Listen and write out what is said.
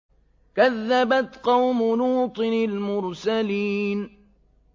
كَذَّبَتْ قَوْمُ لُوطٍ الْمُرْسَلِينَ